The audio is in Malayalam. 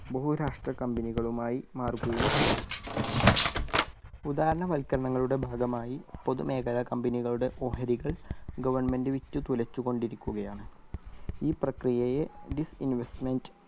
ബഹുരാഷ്ട്ര company കളുമായി മാറുകയും ചെയ്തു. ഉദാരവൽക്കരണനങ്ങളുടെ ഭാഗമായി പൊതുമേഖല company കളുടെ ഓഹരികൾ government വിറ്റ് തോലച്ചുകൊണ്ടിരികുകയാണ് ഈ പ്രക്രിയയെ disinvestment